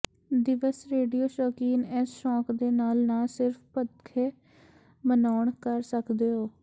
ਦਿਵਸ ਰੇਡੀਓ ਸ਼ੁਕੀਨ ਇਸ ਸ਼ੌਕ ਦੇ ਨਾਲ ਨਾ ਸਿਰਫ਼ ਪੱਖੇ ਮਨਾਉਣ ਕਰ ਸਕਦੇ ਹੋ